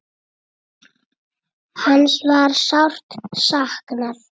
Hans var sárt saknað.